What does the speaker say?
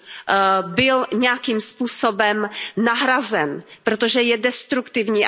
19 byl nějakým způsobem nahrazen, protože je destruktivní.